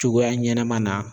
Cogoya ɲɛnɛma na